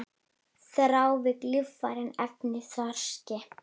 Þrávirk lífræn efni í þorski